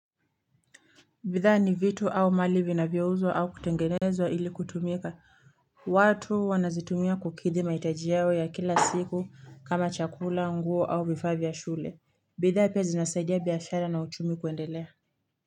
Bidhaa ni vitu au mali vinavyouzwa au kutengenezwa ili kutumika. Watu wanazitumia kukidhi mahitaji yao ya kila siku kama chakula, nguo au vifaa shule. Bidhaa pia zinasaidia biashara na uchumi kuendelea.